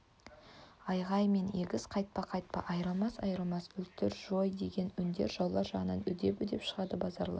айғай мен егес қайтпа қайтпа айрылмас айрылмас өлтір жой деген үндер жаулар жағынан үдеп-үдеп шығады базаралы